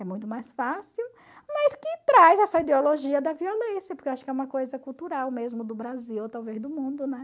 É muito mais fácil, mas que traz essa ideologia da violência, porque eu acho que é uma coisa cultural mesmo do Brasil, talvez do mundo, né?